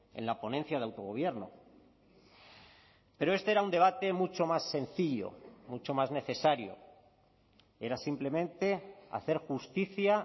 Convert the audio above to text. en la ponencia de autogobierno pero este era un debate mucho más sencillo mucho más necesario era simplemente hacer justicia